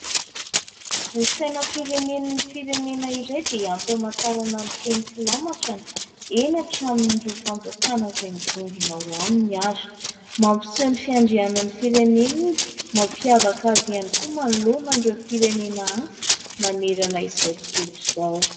Ny sainam-pirenen'ny firenena iray dia ampy amantarana ny teny filamatrany, eny atramin'ireo fanjakana izay mivondrona ao aminy ary. Mampiseho ny fiandrianan'ny firenena, izay mampiavaka azy ihany koa manoloana an'ireo firenena hafa manerana izao tontolo izao.